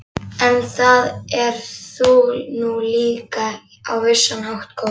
En það ert þú nú líka á vissan hátt, góði